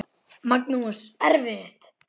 Magnús: Erfitt?